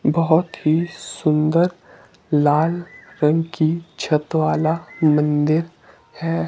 बहुत ही सुंदर लाल रंग की छत वाला मंदिर है।